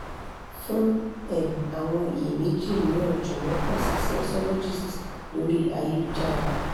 fún um àwọn iyèméjì mìíràn jọ̀wọ́ kan si sexologist lori ayelujara